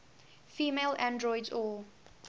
female androids or